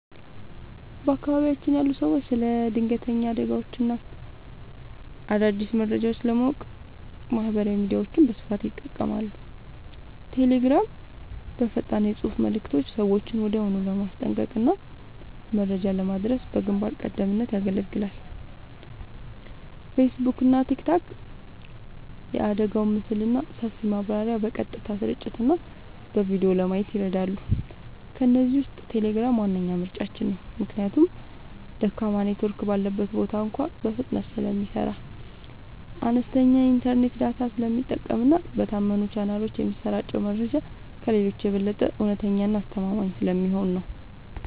በአካባቢያችን ያሉ ሰዎች ስለ ድንገተኛ አደጋዎችና አዳዲስ መረጃዎች ለማወቅ ማህበራዊ ሚዲያዎችን በስፋት ይጠቀማሉ። ቴሌግራም፦ በፈጣን የፅሁፍ መልዕክቶች ሰዎችን ወዲያውኑ ለማስጠንቀቅና መረጃ ለማድረስ በግንባር ቀደምትነት ያገለግላል። ፌስቡክና ቲክቶክ፦ የአደጋውን ምስልና ሰፊ ማብራሪያ በቀጥታ ስርጭትና በቪዲዮ ለማየት ይረዳሉ። ከእነዚህ ውስጥ ቴሌግራም ዋነኛ ምርጫችን ነው። ምክንያቱም ደካማ ኔትወርክ ባለበት ቦታ እንኳ በፍጥነት ስለሚሰራ፣ አነስተኛ የኢንተርኔት ዳታ ስለሚጠቀምና በታመኑ ቻናሎች የሚሰራጨው መረጃ ከሌሎቹ የበለጠ እውነተኛና አስተማማኝ ስለሚሆን ነው።